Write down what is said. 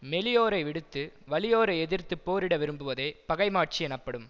மெலியோரை விடுத்து வலியோரை எதிர்த்து போரிட விரும்புவதே பகைமாட்சி எனப்படும்